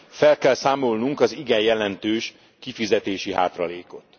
Fel kell számolnunk az igen jelentős kifizetési hátralékot.